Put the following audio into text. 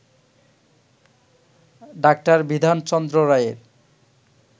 ডাঃ বিধানচন্দ্র রায়ের